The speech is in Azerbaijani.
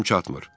Gücüm çatmır.